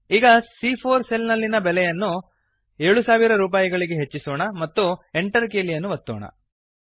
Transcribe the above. ಈಗ ಸಿಎ4 ಸೆಲ್ ನಲ್ಲಿನ ಬೆಲೆಯನ್ನು 7000 ರುಪಾಯಿಗಳಿಗೆ ಹೆಚ್ಚಿಸೋಣ ಮತ್ತು Enter ಕೀಲಿಯನ್ನು ಒತ್ತೋಣ